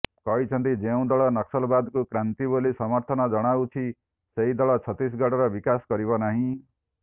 କହିଛନ୍ତି ଯେଉଁ ଦଳ ନକ୍ସଲବାଦକୁ କ୍ରାନ୍ତି ବୋଲି ସମର୍ଥନ ଜଣାଉଛି ସେହି ଦଳ ଛତିଶଗଡର ବିକାଶ କରିବ ନାହିଁ